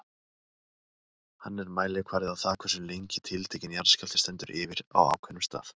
Hann er mælikvarði á það hversu lengi tiltekinn jarðskjálfti stendur yfir á ákveðnum stað.